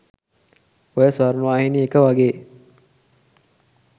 ඔය ස්වර්ණවාහිනී එක වගේ